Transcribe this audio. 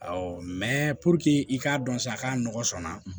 Awɔ mɛ puruke i k'a dɔn sa k'a nɔgɔ sɔnna